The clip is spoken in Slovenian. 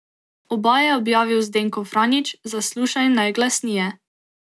Oba je objavil Zdenko Franjić za Slušaj najglasnije.